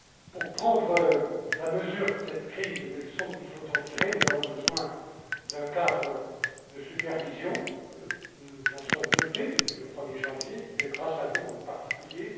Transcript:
Pour prendre la mesure de cette crise et des leçons qu'il faut en tirer, nous avons besoin d'un cadre de supervision nous nous en sommes dotés depuis le 1er janvier, grâce à vous en particulier.